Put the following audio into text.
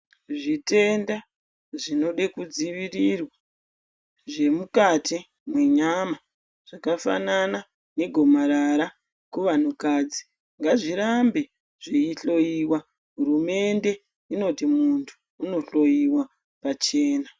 Zvitenda zvinode kudzivirirwa zvemukati menyama zvakafanana negomarara kuvantu kadzi ngazvirambe zveyi hloyiwa hurumende inoti muntu unohloyiwa pachena.